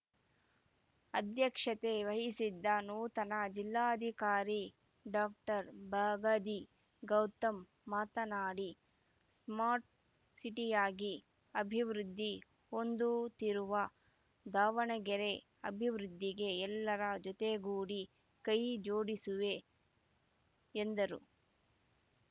ಅಧ್ಯಕ್ಷತೆ ವಹಿಸಿದ್ದ ನೂತನ ಜಿಲ್ಲಾಧಿಕಾರಿ ಡಾಕ್ಟರ್ ಬಗಾದಿ ಗೌತಮ್‌ ಮಾತನಾಡಿ ಸ್ಮಾರ್ಟ್ ಸಿಟಿಯಾಗಿ ಅಭಿವೃದ್ಧಿ ಹೊಂದುತ್ತಿರುವ ದಾವಣಗೆರೆ ಅಭಿವೃದ್ಧಿಗೆ ಎಲ್ಲರ ಜೊತೆಗೂಡಿ ಕೈ ಜೋಡಿಸುವೆ ಎಂದರು